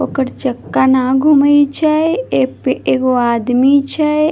ओकर चक्का ने घूमे छै एक पे एगो आदमी छै ।